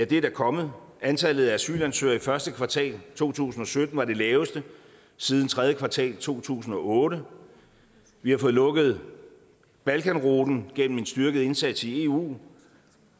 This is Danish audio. det er der kommet antallet af asylansøgere i første kvartal to tusind og sytten var det laveste siden tredje kvartal i to tusind og otte vi har fået lukket balkanruten gennem en styrket indsats i eu